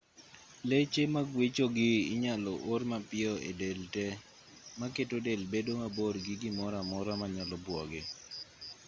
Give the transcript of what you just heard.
leche maguechogi inyalo or mapiyo e del te maketo del bedo mabor gi gimoro amora manyalo buoge